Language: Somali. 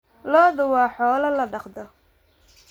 Lo'du waa xoolo la dhaqdo.